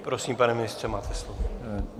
Prosím, pane ministře, máte slovo.